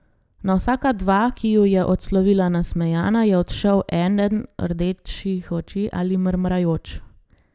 Na vsaka dva, ki ju je odslovila nasmejana, je odšel eden rdečih oči ali mrmrajoč.